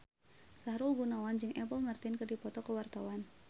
Sahrul Gunawan jeung Apple Martin keur dipoto ku wartawan